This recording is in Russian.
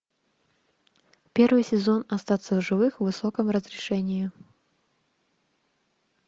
первый сезон остаться в живых в высоком разрешении